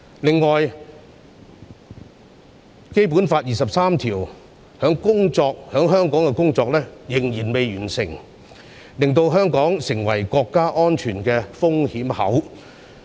另外，《基本法》第二十三條在香港的立法工作仍未完成，令香港成為國家安全的風險口。